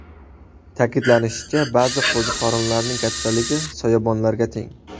Ta’kidlanishicha, ba’zi qo‘ziqorinlarning kattaligi soyabonlarga teng.